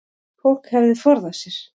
Fólk hefði forðað sér